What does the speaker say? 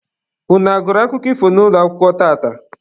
Unu a gụrụ akụkọ ifo n'ụlọakwụkwọ tata?